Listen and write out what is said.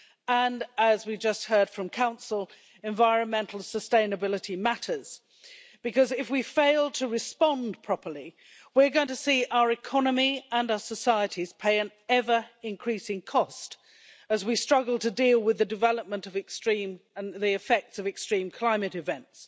and, as we just heard from the Council, environmental sustainability matters. If we fail to respond properly, we're going to see our economy and our societies pay an ever increasing cost, as we struggle to deal with the development and effects of extreme climate events.